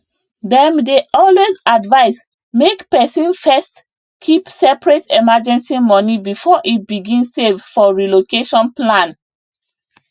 dem dey always advise make person first keep separate emergency money before e begin save for relocation plan